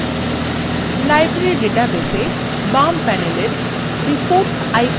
বাম panel reports আইকনের উপর click করুন